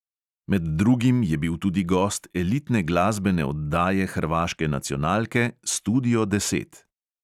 Med drugim je bil tudi gost elitne glasbene oddaje hrvaške nacionalke studio deset.